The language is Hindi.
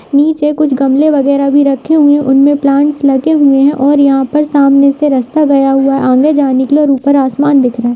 नीचे कुछ गमले वैगरह भी रखे हुए है उनमे प्लांट्स लगे हुए हैं और यहाँ पर सामने से रास्ता गया हुआ है आने जाने के लिए ऊपर आसमान दिख रहा है।